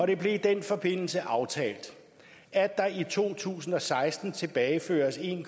det blev i den forbindelse aftalt at der i to tusind og seksten tilbageføres en